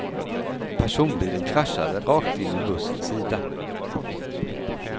Personbilen kraschade rakt in i bussens sida.